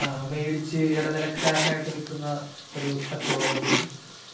മേടിച്ചു ഇടനിലക്കാരനായിട്ടു വിൽക്കുന്ന കച്ചവടമുണ്ട്